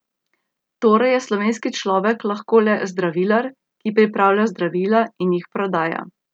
Torej je slovenski človek lahko le zdravilar, ki pripravlja zdravila in jih prodaja.